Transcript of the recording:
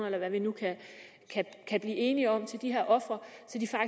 eller hvad vi nu kan blive enige om til de her ofre